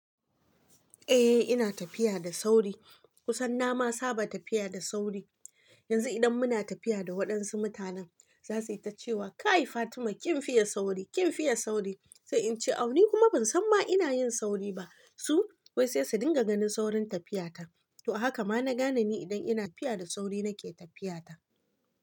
Eh ina tafiya da sauri kusan na ma saba tafiya da sauri. Yanzu idan muna tafiya da waɗansu mutanen za su yi ta cewa kai! Fatima kin fiye sauri, kin fiye sauri. Sai in ce aw ni kuma ban san ma ina yin sauri ba. Su wai sai su dinga ganin saurin tafiyata. To a haka ma na gane ni idan ina tafiya da sauri nake tafiyata.